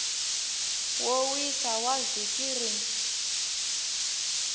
wo wisa wa vhiki rin